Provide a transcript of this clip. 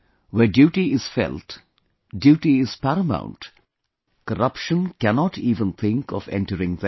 Where duty is felt, Duty is paramount, corruption cannot even think of entering there